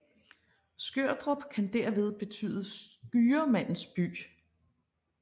Skørdrup kan derved betyde Skyremandens by